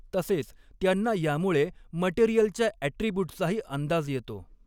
तसेच त्यांना यामुळे मटेरिअलच्या ॲट्रिब्युटचाही अंदाज यॆतो.